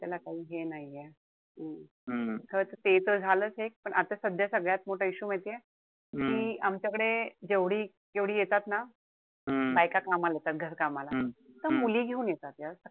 त्याला काई हे नाहीये. ते त झालंच एक पण आता सध्या सगळ्यात मोठा issue माहितीये? कि आमच्याकडे जेवढी जेवढी येतात ना बायका कामाला येतात घरकामाला, त्या मुली घेऊन येतात .